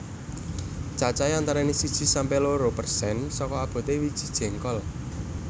Cacahé antarané siji sampe loro persen saka aboté wiji jéngkol